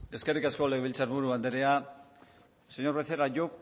eskerrik asko legebiltzarburu andrea señor becerra yo